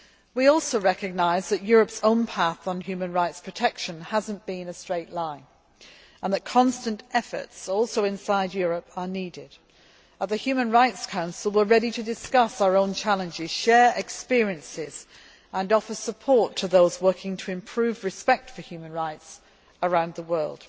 We also recognise that Europe's own path on human rights protection has not been a straight line and that constant efforts are also needed inside Europe. At the Human Rights Council, we are ready to discuss our own challenges, share experiences and offer support to those working to improve respect for human rights around the world.